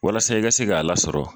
Walasa e ka se k'a la sɔrɔ